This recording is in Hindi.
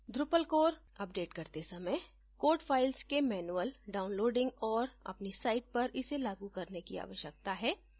drupal core अपडेट करते समय code files के manual downloading और अपनी site पर इसे लागू करने की आवश्यकता है